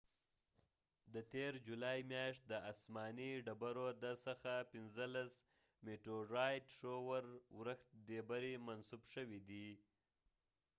د تیر جولای میاشت د اسمانی ډبرو د ورښتmeteorite shower څخه پنځلس ډبری منسوب شوي دي